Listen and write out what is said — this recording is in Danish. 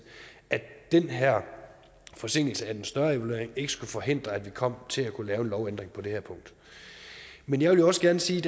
at den her forsinkelse af den større evaluering ikke skulle forhindre at vi kom til at kunne lave en lovændring på det her punkt men jeg vil også gerne sige